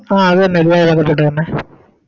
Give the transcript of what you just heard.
ആ അതെന്നെ